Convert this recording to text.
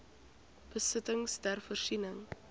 besittings ter voorsiening